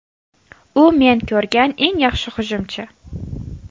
U men ko‘rgan eng yaxshi hujumchi.